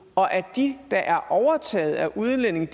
og at de der er overtaget af udlændinge